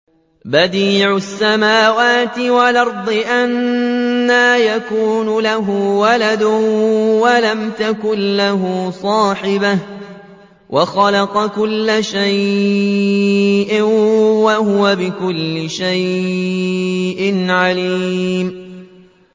بَدِيعُ السَّمَاوَاتِ وَالْأَرْضِ ۖ أَنَّىٰ يَكُونُ لَهُ وَلَدٌ وَلَمْ تَكُن لَّهُ صَاحِبَةٌ ۖ وَخَلَقَ كُلَّ شَيْءٍ ۖ وَهُوَ بِكُلِّ شَيْءٍ عَلِيمٌ